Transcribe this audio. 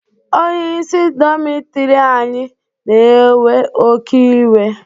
Onyeisi dọmitiri anyị na-ewe oké iwe.